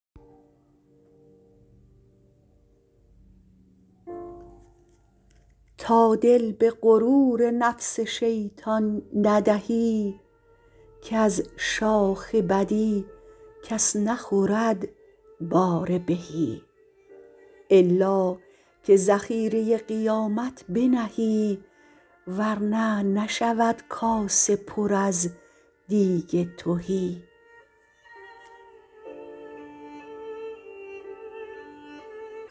تا دل به غرور نفس شیطان ندهی کز شاخ بدی کس نخورد بار بهی الا که ذخیره قیامت بنهی ور نه نشود اسه پر از دیگ تهی